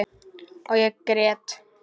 Og ég græt.